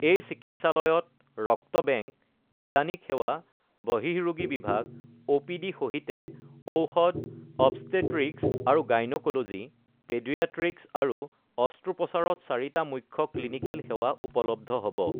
এই চিকিৎসালয়ত ৰক্ত বেংক, নিদানিক সেৱা, বহিঃ ৰোগী বিভাগ অ পিডি সহিতে ঔষধ, অৱছটেট্ৰিকছ আৰু গাইন'ক'ল'জী, পেডিয়াট্ৰিকছ আৰু অস্ত্ৰোপচাৰত চাৰিটা মুখ্য ক্লিনিকেল সেৱা উপলব্ধ হ ব।